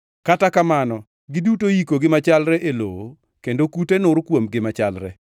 Kata kamano giduto iyikogi machalre e lowo kendo kute nur kuomgi machalre.